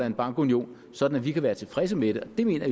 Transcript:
en bankunion sådan at vi kan være tilfredse med det det mener